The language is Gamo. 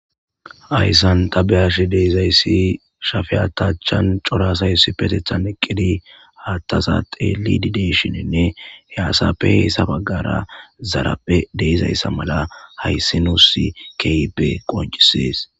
Hayssan ta be'ash de'izayssi shafiya haatha achan cora asay Issippetethan eqqidi haattaza xeellidi de'ishininne he asappe heysa baggaara zaraphe de'izayssa mala haysi nus keehippe qonccissees.